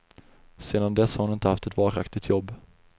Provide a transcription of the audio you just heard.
Sedan dess har hon inte haft ett varaktigt jobb.